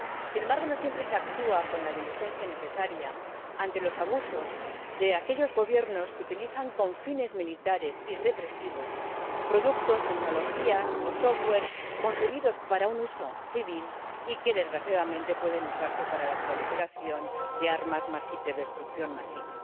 Sin embargo, no siempre se actúa con la diligencia necesaria ante los abusos de aquellos gobiernos que utilizan con fines militares y represivos productos, tecnologías o software concebidos para un uso civil y que, desgraciadamente, pueden usarse para la proliferación de armas de destrucción masiva.